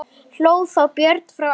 Abba hin fór að gráta.